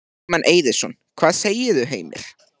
Logi Bergmann Eiðsson: Hvað segirðu, Heimir?